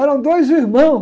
Eram dois irmãos.